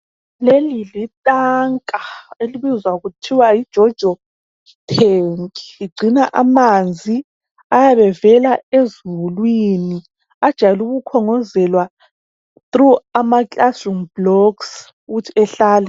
Leli lithanka elibizwa kuthiwa yiJojo tank ligcina amanzi ayabe evela ezulwini ajayele ukukhongozelwa through amaclassroom blocks ukuthi ehlale.